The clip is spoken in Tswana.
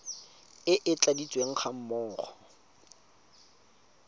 e e tladitsweng ga mmogo